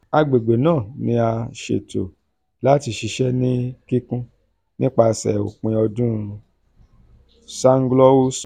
agbegbe naa ni a ṣeto lati ṣiṣẹ ni kikun nipasẹ opin ọdun zaghloul sọ.